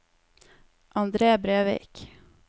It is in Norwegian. Andre Brevik